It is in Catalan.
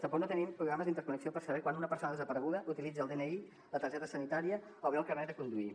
tampoc no tenim programes d’interconnexió per saber quan una persona desapareguda utilitza el dni la targeta sanitària o bé el carnet de conduir